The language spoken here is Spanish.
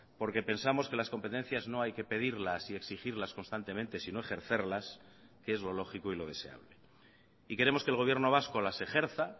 porque pensamos que las competencias no hay que pedirlas y exigirlas constantemente sino ejercerlas que es lo lógico y lo deseable y queremos que el gobierno vasco las ejerza